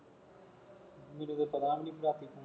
ਤੁਸੀਂ ਤੇ ਬਦਨਾਮ ਹੀ ਕਰਤਾ